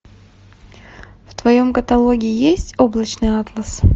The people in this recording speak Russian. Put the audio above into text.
в твоем каталоге есть облачный атлас